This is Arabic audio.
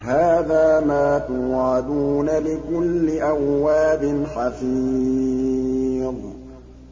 هَٰذَا مَا تُوعَدُونَ لِكُلِّ أَوَّابٍ حَفِيظٍ